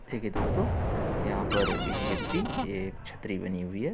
देखिये दोस्तों यहां पर एक व्यक्ति एक छतरी बनी हुई है।